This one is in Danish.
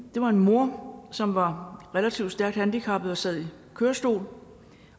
det var en mor som var relativt stærkt handicappet og sad i kørestol